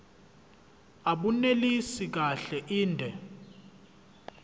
abunelisi kahle inde